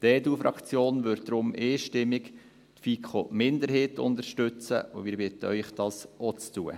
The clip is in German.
Die EDU-Fraktion wird deshalb einstimmig die FiKo-Minderheit unterstützen, und wir bitten Sie, dies auch zu tun.